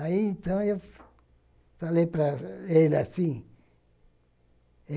Aí, então, eu falei para ele assim.